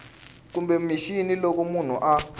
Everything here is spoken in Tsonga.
kumbe mixini loko munhu a